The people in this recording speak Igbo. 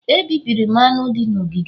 Ebibiri m aṅụ dị n'ogige m